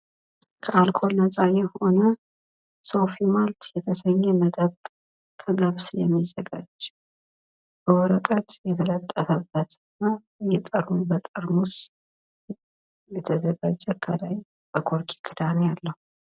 ከአልኮል ነጻ የሆነ ሶፊ ማልት የተሰኘ ይህ መጠጥ ከገብስ የሚዘጋጅ ወረቀት የተለጠፈበትና በጠርሙስ የተዘጋጀ እና ከላይ በኮርኪ ክዳን ያለው